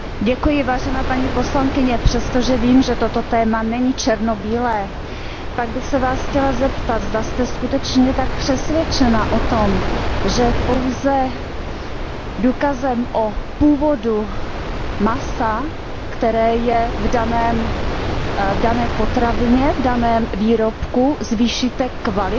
Vážená paní poslankyně, přestože vím, že toto téma není černobílé, chtěla bych se Vás zeptat, zda jste skutečně tak přesvědčena o tom, že pouze důkazem o původu masa, které je v dané potravině, v daném výrobku, zvýšíte kvalitu